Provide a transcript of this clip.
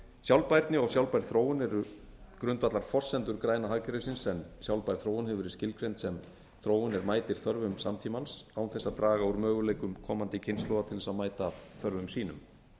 sjálfbærni og sjálfbær þróun eru grundvallarforsendur græna hagkerfisins en sjálfbær þróun hefur verið skilgreind sem þróun er mætir þörfum samtímans án þess að draga úr möguleikum komandi kynslóðar til þess að mæta þörfum sínum